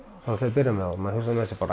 byrja með og maður hugsaði með sér